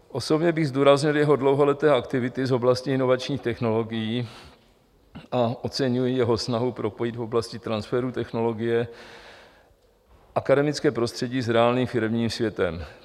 Osobně bych zdůraznil jeho dlouholeté aktivity v oblasti inovačních technologií a oceňuji jeho snahu propojit v oblasti transferu technologie akademické prostředí s reálným firemním světem.